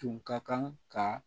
Tun ka kan ka